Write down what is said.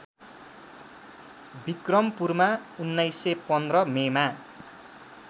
विक्रमपुरमा १९१५ मेमा